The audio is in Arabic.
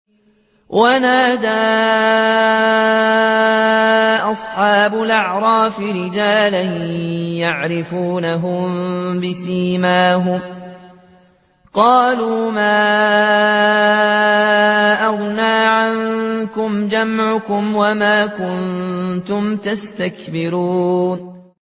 وَنَادَىٰ أَصْحَابُ الْأَعْرَافِ رِجَالًا يَعْرِفُونَهُم بِسِيمَاهُمْ قَالُوا مَا أَغْنَىٰ عَنكُمْ جَمْعُكُمْ وَمَا كُنتُمْ تَسْتَكْبِرُونَ